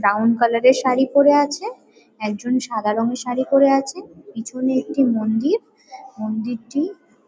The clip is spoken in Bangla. ব্রাউন কালার -এর শাড়ি পরে আছে একজন সাদা রঙের শাড়ি পরে আছে। পিছনে একটি মন্দির। মন্দিরটি